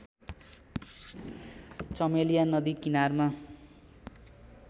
चमेलिया नदी किनारमा